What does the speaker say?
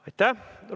Aitäh!